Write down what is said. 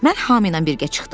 mən Hami ilə birgə çıxdım.